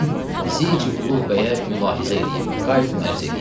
Gedim Zici Uluğ bəyə mülahizə eləyim, qayıdım ərz eləyim.